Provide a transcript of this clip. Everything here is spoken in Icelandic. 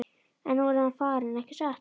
En nú er hann farinn, ekki satt?